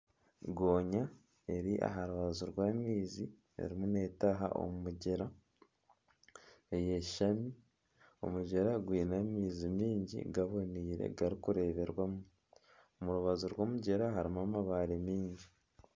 Goonya eri aha rubaju rw'amaizi erimu neetaaha omu mugyera eyeshamize omugyera gwine amaizi maingi gaboniire garikureeberwamu omu rubaju rw'omugyera harimu amabare mingi